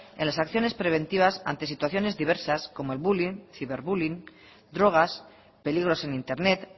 en las acciones preventivas ante situaciones diversas como el bullying ciberbullying drogas peligros en internet